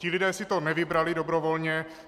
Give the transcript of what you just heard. Ti lidé si to nevybrali dobrovolně.